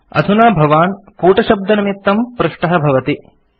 अधुना भवान् कूटशब्दनिमित्तं पृष्टः भवति